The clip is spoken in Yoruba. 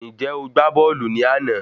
Ǹjẹ́ o gbá bọ́ọ̀lù ní àná?